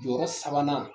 Jɔyɔrɔ sabanan